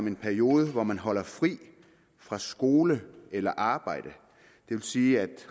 en periode hvor man holder fri fra skole eller arbejde det vil sige at